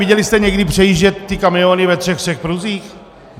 Viděli jste někdy předjíždět ty kamiony ve všech třech pruzích?